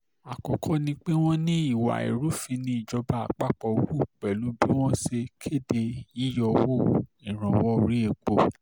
àkọ́kọ́ ni pé wọ́n ní ìwà ìrúfin níjọba àpapọ̀ hù pẹ̀lú bí wọ́n ṣe kéde yíyọwọ́ ìrànwọ́ orí epo